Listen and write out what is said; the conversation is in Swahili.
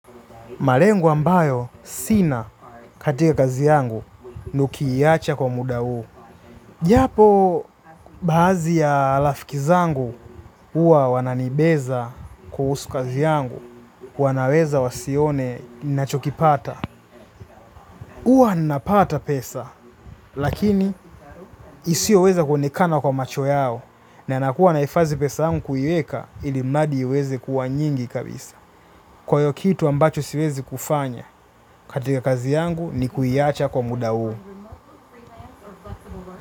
Malengo ambayo sina katika kazi yangu nii kuiacha kwa muda huu. Japo baadhi ya rafiki zangu huwa wananibeza kuhusu kazi yangu. Wanaweza wasione nachokipata. Huwa napata pesa lakini isio weza kuonekana kwa macho yao. Na nakuwa nahifadhi pesa yangu kuiweka ilimradi iweze kuwa nyingi kabisa. Kwa hio kitu ambacho siwezi kufanya, katika kazi yangu ni kuiacha kwa muda huu.